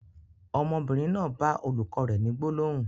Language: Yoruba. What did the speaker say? Ọmọbìnrin náà bá olùkọ́ rẹ ni gbólóhùn.